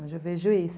Hoje eu vejo isso.